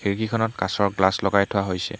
খিৰিকীখনত কাচৰ গ্লাছ লগাই থোৱা হৈছে।